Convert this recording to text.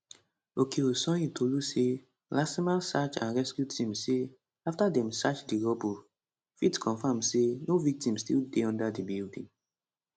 okeosanyintolu say lasema search and rescue team say afta dem search di rubble fit confam say no victim still dey under di building